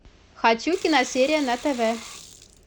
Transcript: хочу киносерия на тв